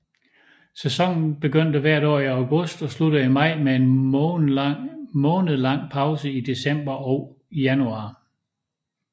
Sæsonen begynder hvert år i august og slutter i maj med en månedlang pause i december og januar